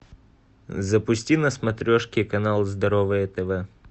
запусти на смотрешке канал здоровое тв